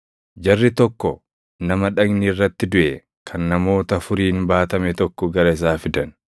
Jarri tokko nama dhagni irratti duʼe kan namoota afuriin baatame tokko gara isaa fidan.